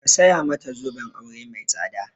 Ka saya mata zoben aure mai tsada!